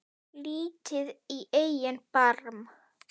Lítið í eigin barm.